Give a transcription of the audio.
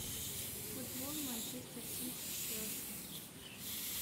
футбол манчестер сити челси